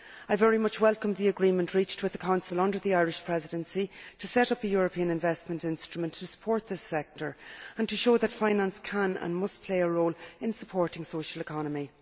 I very much welcome the agreement reached with the Council under the Irish Presidency to set up a European investment instrument to support this sector and to show that finance can and must play a role in supporting the social economy.